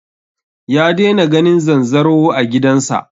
Ya daina ganin zanzaro a gidan sa